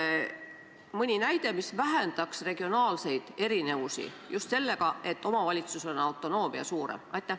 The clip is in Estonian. Kas on mõni näide selle kohta, mis vähendaks regionaalseid erinevusi sellega, et omavalitsusel on autonoomia suurem?